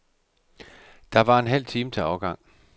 Der var en halv time til afgang.